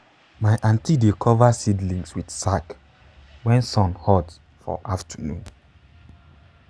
my aunty dey cover seedlings with sack when sun hot for afternoon.